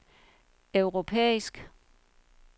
europæisk